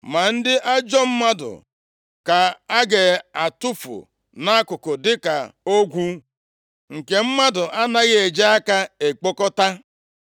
Ma ndị ajọ mmadụ ka a ga-atụfu nʼakụkụ dịka ogwu, nke mmadụ anaghị eji aka ekpokọta.